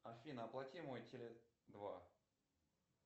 афина оплати мой теле два